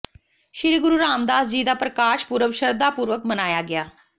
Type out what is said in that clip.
ਸ੍ਰੀ ਗੁਰੂ ਰਾਮਦਾਸ ਜੀ ਦਾ ਪ੍ਰਕਾਸ਼ ਪੁਰਬ ਸ਼ਰਧਾ ਪੂਰਵਕ ਮਨਾਇਆ ਗਿਆ